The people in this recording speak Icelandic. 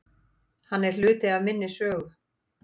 Hann er hluti af minni sögu.